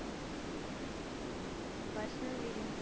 અઅ ok